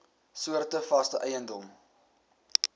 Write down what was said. soorte vaste eiendom